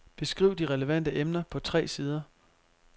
Beskriv de relevante emner på tre sider.